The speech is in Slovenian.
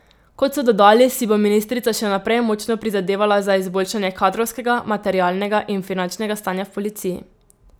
Kot so dodali, si bo ministrica še naprej močno prizadevala za izboljšanje kadrovskega, materialnega in finančnega stanja v policiji.